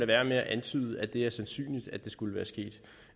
være med at antyde at det er sandsynligt at det skulle være sket